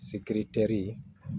Sikiri teri ye